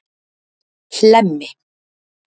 Hlemmi